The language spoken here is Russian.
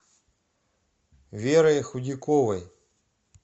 верой худяковой